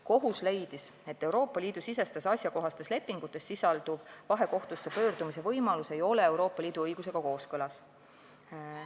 Kohus leidis, et Euroopa Liidu sisestes asjakohastes lepingutes sisalduv vahekohtusse pöördumise võimalus ei ole Euroopa Liidu õigusega kooskõlas.